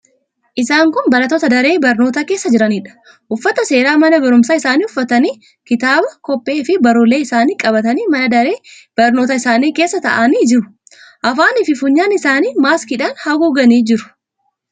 Isaan kun barattoota daree barnootaa keessa jiraniidha. Uffata seeraa mana barumsaa isaanii uffatanii; kitaaba, kobbeefi barruulee isaanii qabatanii mana daree barnootaa isaanii keessa taa'anii jiru. Afaaniifi funyaan isaanii maaskiidhaan haguuganii jiru.